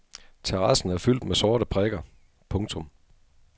Terrassen er fyldt med sorte prikker. punktum